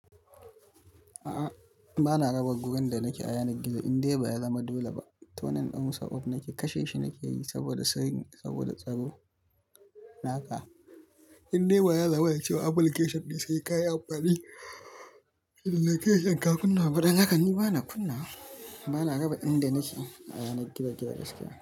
A'a bana raba gurin da nake ayanar gizo, indai ba ya zama dole ba. Tonin ɗin musa off nake kashe shi nake yi saboda sanyi, saboda tsaro. Naka indai ba ya zama cewa application dai kai ka yi amfani location ka kunna baɗi haka ni bana kunna, bana raba inda nake ayana gizo-gizo gaskiya.